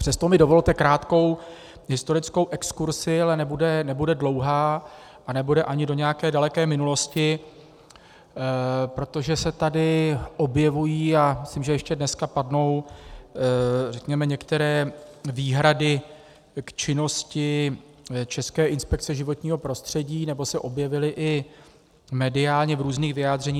Přesto mi dovolte krátkou historickou exkurzi, ale nebude dlouhá, a nebude ani do nějaké daleké minulosti, protože se tady objevují, a myslím, že ještě dneska padnou, řekněme, některé výhrady k činnosti České inspekce životního prostředí, nebo se objevily i mediálně v různých vyjádřeních.